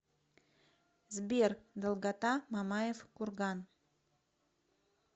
сбер долгота мамаев курган